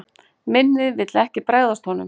Minnið vill ekki bregðast honum.